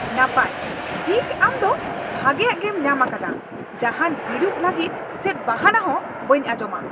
ᱱᱟᱯᱟᱭ, ᱴᱷᱤᱠ ᱟᱢ ᱫᱚ ᱵᱷᱟᱜᱮᱭᱟᱜ ᱜᱮᱢ ᱧᱟᱢ ᱟᱠᱟᱫᱼᱟ ᱾ ᱡᱟᱦᱟᱱ ᱦᱤᱲᱩᱡ ᱞᱟᱹᱜᱤᱫ ᱪᱮᱫ ᱵᱟᱦᱟᱱᱟ ᱦᱚᱸ ᱵᱟᱹᱧ ᱟᱧᱡᱚᱢᱟ ᱾